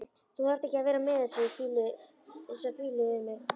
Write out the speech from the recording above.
Þú þarft ekki að vera með þessa fýlu við mig.